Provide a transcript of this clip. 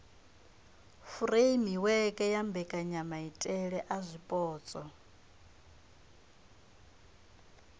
furemiweke ya mbekanyamaitele a zwipotso